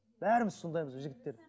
бәріміз сондаймыз біз жігіттер